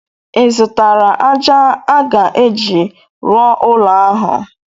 Ị zụtara ájá a ga-eji rụọ ụlọ ahụ?